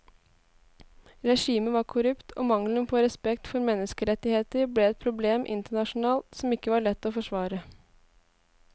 Regimet var korrupt og mangelen på respekt for menneskerettigheter ble et problem internasjonalt som ikke var lett å forsvare.